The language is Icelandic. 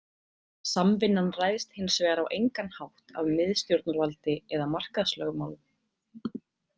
Samvinnan ræðst hins vegar á engan hátt af miðstjórnarvaldi eða markaðslögmálum.